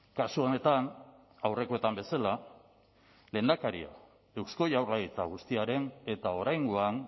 kasu honetan aurrekoetan bezala lehendakaria eusko jaurlaritza guztiaren eta oraingoan